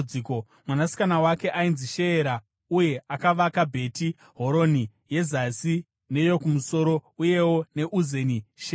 Mwanasikana wake ainzi Sheera, uye akavaka Bheti Horoni, yeZasi neyokumusoro uyewo neUzeni Sheera.)